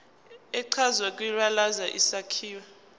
echazwe kwibalazwe isakhiwo